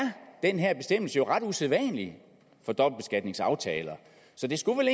den her bestemmelse jo ret usædvanlig for dobbeltbeskatningsaftaler så det skulle vel